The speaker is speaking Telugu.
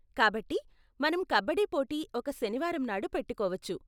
కాబట్టి, మనం కబడ్డీ పోటీ ఒక శనివారం నాడు పెట్టుకోవచ్చు.